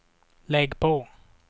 lägg på